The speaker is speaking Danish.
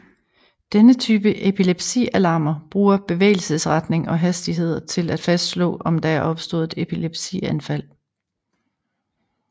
Denne type epilepsialarmer bruger bevægelsesretning og hastighed til at fastslå om der er opstået et epilepsianfald